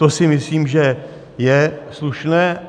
To si myslím, že je slušné.